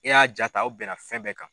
E y'a jaa ta aw bɛn na fɛn bɛɛ kan.